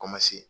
Ko ma se